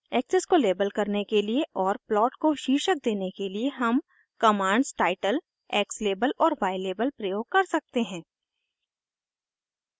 axis को label करने के लिए और प्लॉट को शीर्षक देने के लिए हम कमांड्स टाइटल x लेबल और y लेबल प्रयोग कर सकते हैं